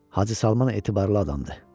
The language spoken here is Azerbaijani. Hacı Salman etibarlı adamdır”.